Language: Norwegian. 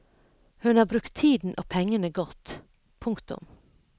Hun har brukt tiden og pengene godt. punktum